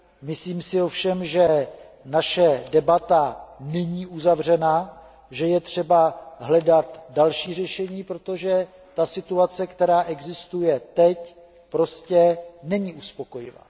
Myslím si ovšem, že naše debata není uzavřená, že je třeba hledat další řešení, protože situace, která existuje teď, prostě není uspokojivá.